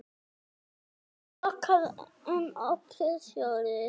Lokaðir eða opnir sjóðir?